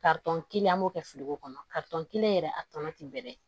kelen an b'o kɛ fili ko kɔnɔ kelen yɛrɛ a tɔnɔ tɛ bɛrɛ ye